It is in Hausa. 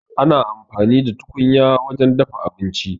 Ana amfani da tukunya wajen dafa abinci